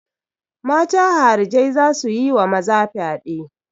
Mata harijai za su yi wa maza fyade.